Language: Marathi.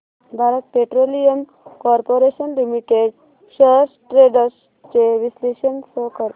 Bharat Petroleum Corporation Limited shares trends चे विश्लेषण शो कर